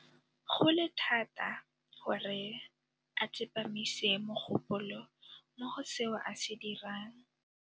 Go le thata gore a tsepamise mogopolo mo go seo a se dirang.